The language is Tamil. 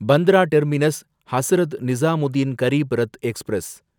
Bandra terminus Hazrat Nizamuddin Garib Rath express